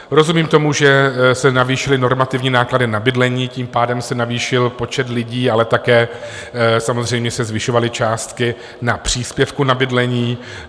Rozumím tomu, že se navýšily normativní náklady na bydlení, tím pádem se navýšil počet lidí, ale také samozřejmě se zvyšovaly částky na příspěvku na bydlení.